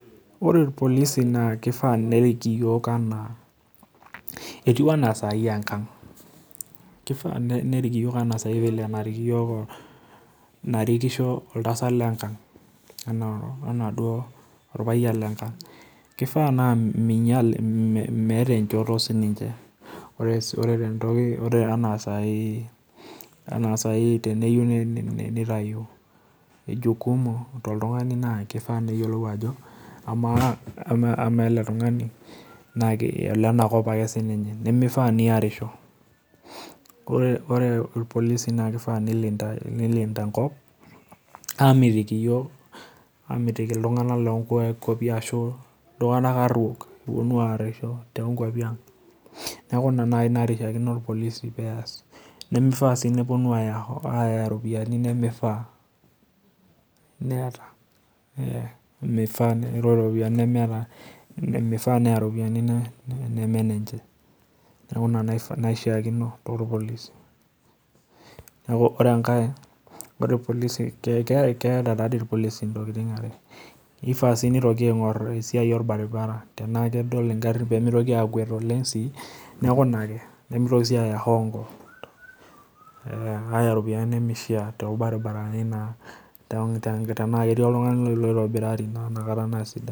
Ore ilpolisi naa kifaa nerik iyiook naa etiu enaa saai engang',kifaa nerik iyiook enaa saai narikisho oltasat lengank ena duo olpayian lengank. Kifaa naa meeta enjoto sininje, ore enaa saai teneyiou nitayu jukumu toltunganak naa kifaa neyiolou ajo amaa ele tungani naa olenakop ake sininye, mifaa niarisho. Ore ilpolisi naa kifaa nilinta enkop amitiki iyiook Iltunganak loonkuapi ashu iltunganak aruok ooponu aarisho toonkuapi aang'. Neeku ina naai nanarikino ilpolisi peas. Mifaa peeponu aaya iropiyiani nimifaa. Mifaa neya iropiyiani nemenenje, neeku ina naishaakino toopolisi. Ore enkae, ore ilpolisi keyita taatoi ilpolisi intokitin epesho, nifaa sii nitoki aingor esiai olbaribara, tenaa kedol ingarin mitoki aakuet sii, neeku ina ake, nimitoki sii aaya hongo aaya iropiyiani nimishaa toobaribarani naa tenaa ketii oltungani loitobirari naa nakata naa sidai.